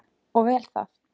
Og vel það.